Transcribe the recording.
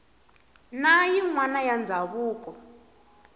na yin wana ya ndzawulo